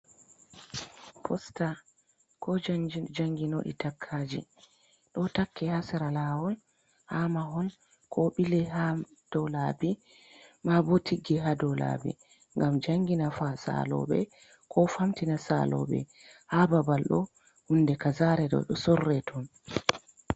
Posta ko janginoɗi takkaji, do takke hasera lawol ha mahol ko ɓile ha dolabi, ma bo tigge ha dolabi gam jangina saloɓe fa, ko famtina saloɓe ha babal ɗo hunde ka zare ɗo sorre ton.